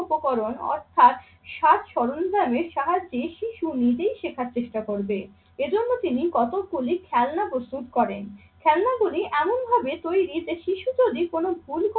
শিক্ষা উপকরণ অর্থাৎ সাজ সরঞ্জামের সাহায্যে শিশু নিজেই শেখার চেষ্টা করবে। এজন্য তিনি কতগুলি খেলনা প্রস্তুত করেন। খেলনাগুলি এমন ভাবে তৈরি যে শিশু যদি কোন ভুল